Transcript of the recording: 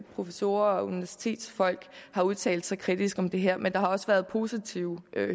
professorer og universitetsfolk har udtalt sig kritisk om det her men der har også været positive